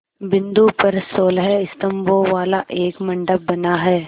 बिंदु पर सोलह स्तंभों वाला एक मंडप बना है